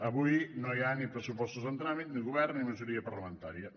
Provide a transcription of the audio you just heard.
avui no hi ha ni pressupostos en tràmit ni govern ni majoria parlamentària